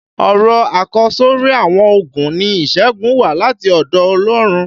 Ọ̀rọ̀ àkọsọ́rí àwọn ológun ni "ìṣẹ́gun wá láti ọ̀dọ̀ Ọlọ́run".